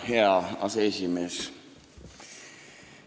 Hea aseesimees!